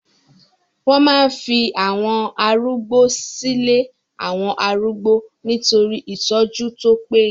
Wọ́n máa ń fi àwọn arúgbó silé àwọn arúgbó nitori itọ́jú tó paye